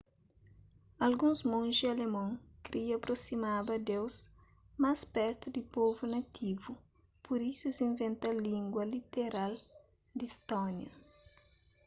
alguns monji alemon kria aprosimaba deus más pertu di povu nativu pur isu es inventa língua literal di stónia